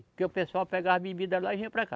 Porque o pessoal pegava bebida lá e vinha para cá.